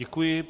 Děkuji.